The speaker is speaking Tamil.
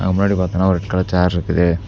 முன்னாடி பாத்தோன்ன ஒரு ரெட் கலர் சேர் இருக்குது.